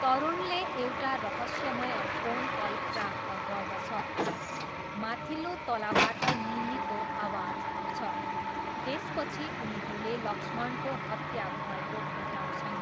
तरुणले एउटा रहस्यमय phone call प्राप्त गर्दछ, माथिल्लो तलाबाट निम्मीको आवाज आउँछ, त्यसपछि उनीहरूले लक्ष्मणको हत्या भएको भेट्टाउँछन्।